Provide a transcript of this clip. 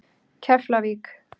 Keflavík